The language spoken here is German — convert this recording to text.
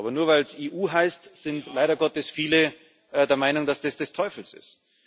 Aber nur weil sie EU heißt, sind leider Gottes viele der Meinung, dass das des Teufels ist.